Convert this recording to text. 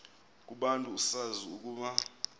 kubantu usazi ukuba